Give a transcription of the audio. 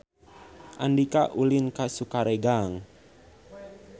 Andika ulin ka Sukaregang